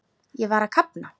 Ég var að kafna.